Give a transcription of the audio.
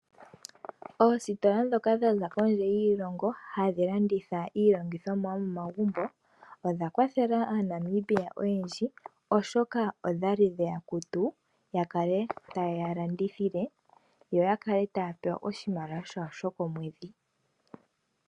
Oositola dho ka dha za kondje yiilongo hadhi landitha iilongithomwa yo momagumbo odha kwathela aaNamibia oyendji, oshoka odha li dhe ya kutu. Ya kale ya yeya landithithile, yo ka kale taya pewa oshimaliwa shawo sho komwedhi.